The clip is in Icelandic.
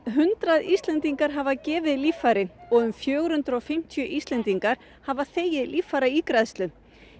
hundrað Íslendingar hafa gefið líffæri og um fjögur hundruð og fimmtíu Íslendingar hafa fengið líffæraígræðslu